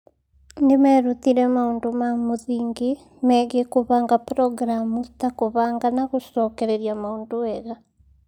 Nĩ meerutire maũndũ ma mũthingi megiĩ kũbanga programu ta kũbanga na gũcokereria maũndũ wega